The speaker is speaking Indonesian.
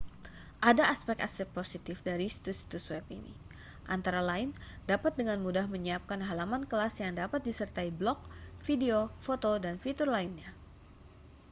ada aspek-aspek positif dari situs-situs web ini antara lain dapat dengan mudah menyiapkan halaman kelas yang dapat disertai blog video foto dan fitur lainnya